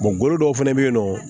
gugolo dɔw fɛnɛ be yen nɔ